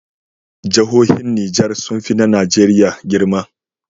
Jahohin niger sunfi na nigeria girma